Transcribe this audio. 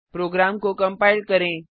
programme को compile करें